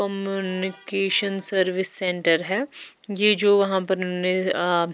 communication service centre है ये जो वहाँ पर उन ने आ --